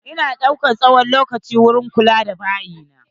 Ina daukan tsawon lokaci wurin kula da bayi na.